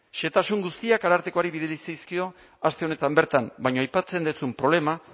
xehetasun guztiak arartekoari bidali zaizkio aste honetan bertan baina aipatzen duzun problema